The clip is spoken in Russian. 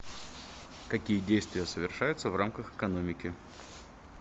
какие действия совершаются в рамках экономики